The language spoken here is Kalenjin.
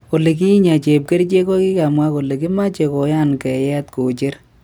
Olikinye, chepkerchek kokikamwa kole kimache kuyagn ngeyet kocher.